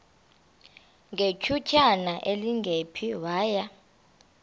ngethutyana elingephi waya